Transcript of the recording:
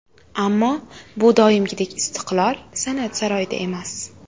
Ammo bu doimgidek ‘Istiqlol’ san’at saroyida emas.